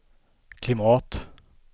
klimat